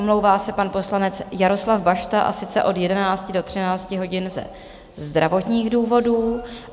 Omlouvá se pan poslanec Jaroslav Bašta, a sice od 11 do 13 hodin ze zdravotních důvodů.